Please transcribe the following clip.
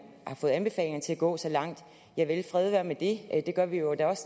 har fået anbefalinger til at gå så langt javel fred være med det det gør vi jo da